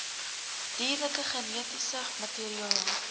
dierlike genetiese materiaal